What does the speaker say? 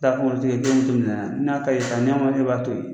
Ta kunsigɛjeli k'i minɛ a n'a kayi sa n'e ma e b'a to ye